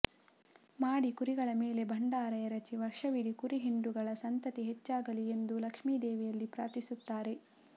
ಮಾಡಿ ಕುರಿಗಳ ಮೇಲೆ ಭಂಡಾರ ಎರಚಿ ವರ್ಷವಿಡಿ ಕುರಿ ಹಿಂಡುಗಳ ಸಂತತಿ ಹೆಚ್ಚಾಗಲಿ ಎಂದು ಲಕ್ಷ್ಮೀದೇವಿಯಲ್ಲಿ ಪ್ರಾರ್ಥಿಸುತ್ತಾರೆ